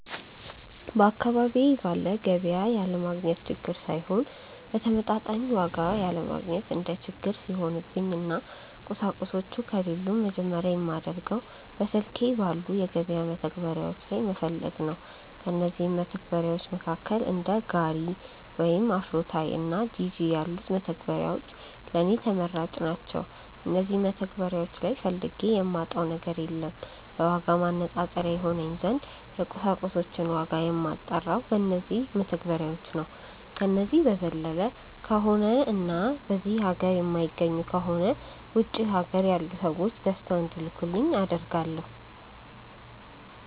በአካባቢዬ ባለ ገቢያ ያለማግኘት ችግር ሳይሆን በተመጣጣኝ ዋጋ ያለማግኘት እንደ ችግር ሲሆንብኝ እና ቁሳቁሶቹ ከሌሉም መጀመርያ የማደርገው በስልኬ ባሉ የገበያ መተግበሪያዎች ላይ መፈለግ ነው። ከእነዚህም መተግበርያዎች መካከል እንደ ጋሪ ወይም አፍሮታይ እና ጂጂ ያሉት መተግበሪያዎች ለኔ ተመራጭ ናቸዉ። እነዚህ መተግበሪያዎች ላይ ፈልጌ የማጣው ነገር የለም። ለዋጋ ማነፃፀሪያ ይሆነኝ ዘንድ የቁሳቁሶችን ዋጋ የማጣራው በነዚው መተግበሪያዎች ነው። ከነዚህ በዘለለ ከሆነ እና በዚህ ሀገር የማይገኙ ከሆነ ውጪ ሀገር ያሉ ሰዎች ገዝተው እንዲልኩልኝ አደርጋለው።